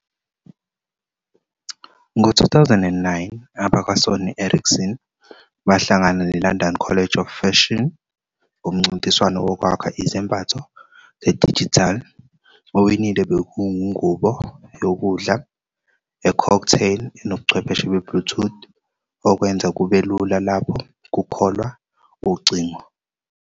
Ngo-2009, abakwaSony Ericsson bahlangana neLondon College of Fashion kumncintiswano wokwakha izembatho zedijithali. Owinile bekungubo yokudla e-cocktail enobuchwepheshe be-Bluetooth okwenza kube lula lapho kukholwa ucingo.